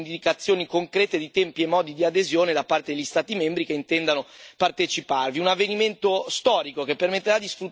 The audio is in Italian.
cooperazione strutturata permanente, con indicazioni concrete di tempi e modi di adesione da parte degli Stati membri che intendano parteciparvi.